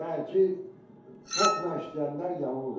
Yəni ki, tokla işləyənlər yanırlar.